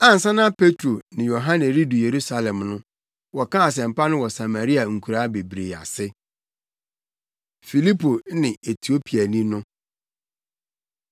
Ansa na Petro ne Yohane redu Yerusalem no, wɔkaa asɛmpa no wɔ Samaria nkuraa bebree ase. Filipo Ne Etiopiani No